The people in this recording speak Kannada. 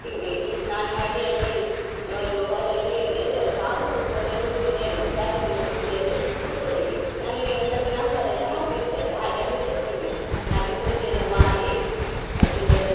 ಬೇಗ ಬೇಗ ಸ್ನಾನ ಮಾಡಿ ಅಲ್ಲಿ ಒಂದು hall ಅಲ್ಲಿ ಎಲ್ಲರು ಸಾರ್ವಜನಿಕವಾಗಿ ಅದು ಪೂಜೆ ನಡಿಯುದು ಸಾರ್ವಜನಿಕ ಪೂಜೆಯಲ್ಲಿ ಕುತ್ಕೊಳಿಕ್ಕೆ ನಮಗೆ ಎಂತದ್ದು number ಎಲ್ಲ ಹಾಕಿರ್ತದೆ ಹಾಗೆ ಅಲ್ಲಿ ಕೂತ್ಕೊಂಡ್ವಿ ಪೂಜೆ ಎಲ್ಲ ಮಾಡಿ ಅದ್ರುದೆಂತದೊ.